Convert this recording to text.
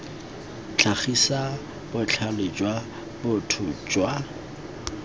tlhagisa botlhale jwa botho jwa